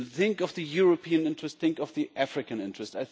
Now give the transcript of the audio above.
Think of the European interest and think of the African interest.